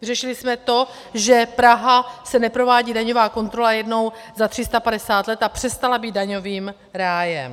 Vyřešili jsme to, že Praha se neprovádí daňová kontrola jednou za 350 let a přestala být daňovým rájem.